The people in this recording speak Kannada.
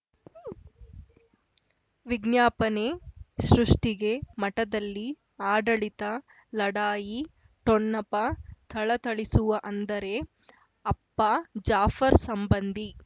ವಿಜ್ಞಾಪನೆ ಸೃಷ್ಟಿಗೆ ಮಠದಲ್ಲಿ ಆಡಳಿತ ಲಢಾಯಿ ಠೊಣಪ ಥಳಥಳಿಸುವ ಅಂದರೆ ಅಪ್ಪ ಜಾಫರ್ ಸಂಬಂಧಿ